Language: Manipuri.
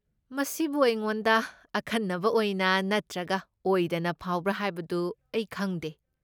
ꯃꯁꯤꯕꯨ ꯑꯩꯉꯣꯟꯗ ꯑꯈꯟꯅꯕ ꯑꯣꯏꯅ ꯅꯠꯇ꯭ꯔꯒ ꯑꯣꯏꯗꯅ ꯐꯥꯎꯕ꯭ꯔꯥ ꯍꯥꯏꯕꯗꯨ ꯑꯩ ꯈꯪꯗꯦ ꯫